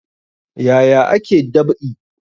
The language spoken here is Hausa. Yaya ake dab'i?